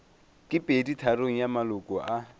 ke peditharong ya maloko a